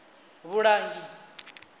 vhulangi